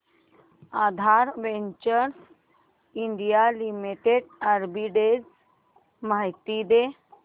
आधार ventures India limited arbitrage माहिती दे